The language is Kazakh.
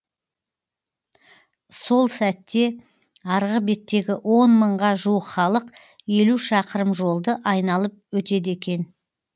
сол сәтте арғы беттегі он мыңға жуық халық елу шақырым жолды айналып өтеді екен